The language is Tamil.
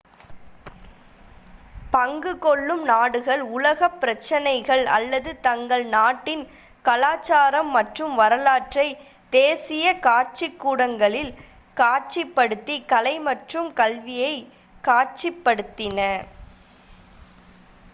பங்கு கொள்ளும் நாடுகள் உலகப் பிரச்சினைகள் அல்லது தங்கள் நாட்டின் கலாச்சாரம் மற்றும் வரலாற்றை தேசிய காட்சிக்கூடங்களில் காட்சிப்படுத்தி கலை மற்றும் கல்வியை காட்சிப்படுத்தின